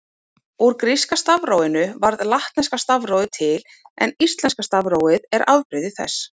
Úr gríska stafrófinu varð latneska stafrófið til en íslenska stafrófið er afbrigði þess.